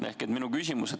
Ehk minu küsimus.